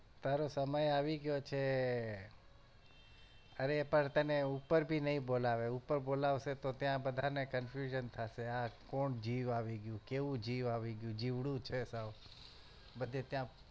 તારો સમય આવી ગયો છે અરે પણ તને ઉપર ભી નઈ બોલાવે ઉપર બોલાવશે તો ત્યાં બધાને confusion થશે આ કોણ જીવ આવી ગયું કેવું જીવ આવી ગયું જીવડું છે સાવ બધે ત્યાં